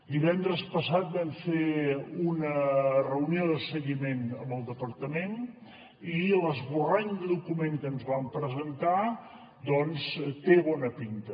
divendres passat vam fer una reunió de seguiment amb el departament i l’esborrany de document que ens vam presentar doncs té bona pinta